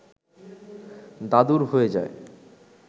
দাদুর হয়ে যায়